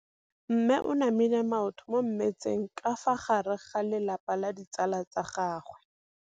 Mme o namile maoto mo mmetseng ka fa gare ga lelapa le ditsala tsa gagwe.